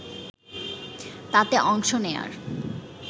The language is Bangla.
তাতে অংশ নেয়ার